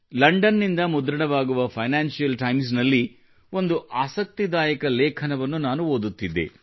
London ನಿಂದ ಮುದ್ರಣವಾಗುವ Financial Times ನಲ್ಲಿ ಒಂದು ಆಸಕ್ತಿದಾಯಕ ಲೇಖನವನ್ನು ನಾನು ಓದಿದೆ